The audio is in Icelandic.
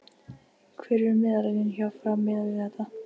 Hver eru meðallaunin hjá Fram miðað við þetta?